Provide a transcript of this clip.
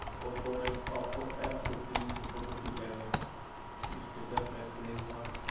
Oppo Oppo F fifteen से photo खींचा गया है स्टेटस क्क स्क्रीनशॉट --